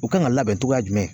U kan ka labɛn cogoya jumɛn